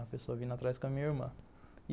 A pessoa vindo atrás com a minha irmã.